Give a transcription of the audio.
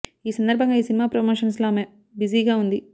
ఈ సందర్భంగా ఈ సినిమా ప్రమోషన్స్ లో ఆమె బిజీగా వుంది